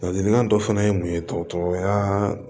Ladilikan dɔ fana ye mun ye dɔgɔtɔrɔya